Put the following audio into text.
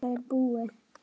Þetta er búið